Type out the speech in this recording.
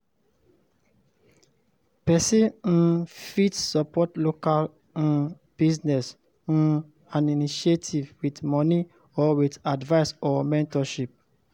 Persin um fit support local um business um and initiative with money or with advice or mentorship